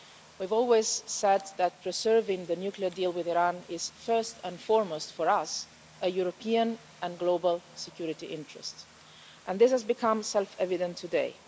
We've always said that preserving the nuclear deal with Iran is first and foremost for us a European and global security interest, and this has become self evident today.